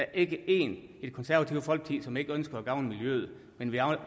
er ikke én i det konservative folkeparti som ikke ønsker at gavne miljøet men vi